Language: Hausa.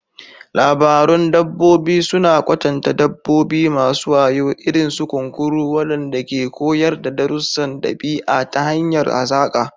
Labarun dabbobi suna kwatanta dabbobi masu wayo, irin su kunkuru, waɗanda ke koyar da darussan ɗabi'a ta hanyar hazaƙa.